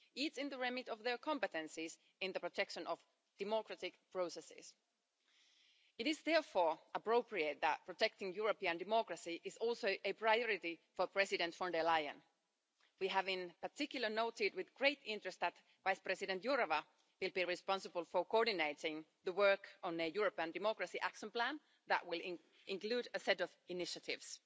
this is in the remit of their competencies in the protection of democratic processes. It is therefore appropriate that protecting European democracy is also a priority for President von der Leyen. We have in particular noted with great interest that Vice President Jourová will be responsible for coordinating the work on a Europe and Democracy Action Plan that will include a set of initiatives.